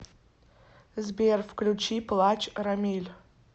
сбер включи плачь рамиль